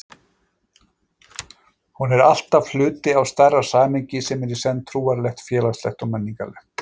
Hún er alltaf hluti af stærra samhengi sem er í senn trúarlegt, félagslegt og menningarlegt.